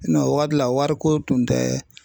o wari la wariko tun tɛ